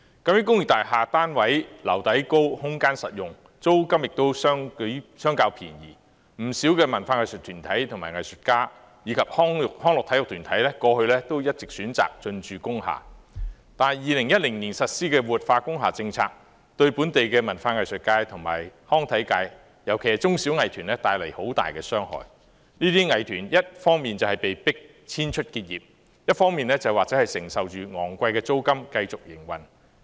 那些工業大廈單位樓底高，空間實用，租金亦相較便宜，不少文化藝術團體、藝術家及康樂體育團體過去一直選擇進駐工廈，但2010年實施的活化工廈政策對本地文化藝術界及康體界帶來很大傷害；這些藝團要麼被迫遷出結業，要麼承受着昂貴的租金，繼續營運。